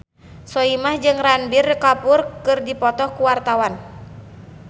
Soimah jeung Ranbir Kapoor keur dipoto ku wartawan